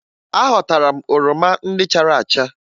Aghọtara m oroma ndị chara acha